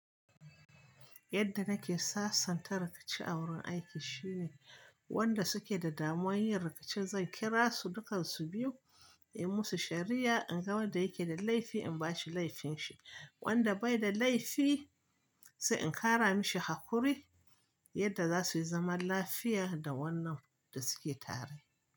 Yadda nake sasanta rikici a wurin aiki shine wanda suke da damuwar yin rikici zan kira su dukkan su biyu, in yi musu shari'a, in ga wanda yake da laifi in ba shi laifin shi. Wanda bai da laifi sai in kara mishi haƙuri yadda za su yi zaman lafiya da wannan da suke tare.